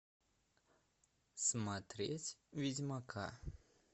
смотреть ведьмака